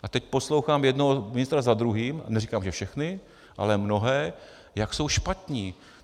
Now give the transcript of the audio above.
A teď poslouchám jednoho ministra za druhým, neříkám, že všechny, ale mnohé, jak jsou špatní.